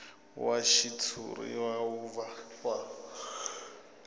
wa xitshuriwa wu va wa